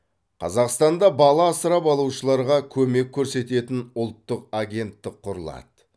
қазақстанда бала асырап алушыларға көмек көрсететін ұлттық агенттік құрылады